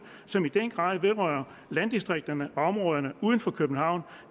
som i den grad vedrører landdistrikterne og områderne uden for københavn